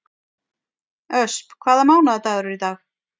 Ösp, hvaða mánaðardagur er í dag?